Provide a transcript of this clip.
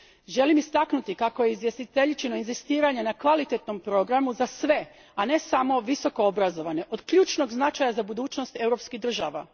Želim istaknuti kako je izvjestiteljičino inzistiranje na kvalitetnom programu za sve, a ne samo visokoobrazovane, od ključnog značaja za budućnost europskih društava.